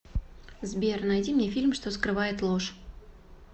сбер найди мне фильм что скрывает ложь